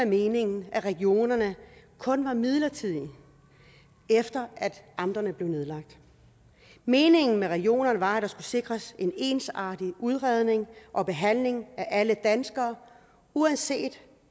meningen at regionerne kun var midlertidige efter at amterne blev nedlagt meningen med regionerne var at der skulle sikres en ensartet udredning og behandling af alle danskere uanset